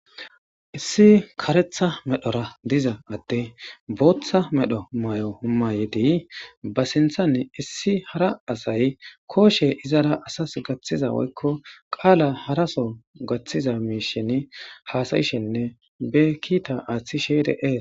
issi karetha medhora diza atte booththa medho may7o humayedi ba sinthann issi hara asay kooshe izara asas gaththiza woykko qaala haraso gaththiza miishin haasayishenne be kiita aaththishe dees.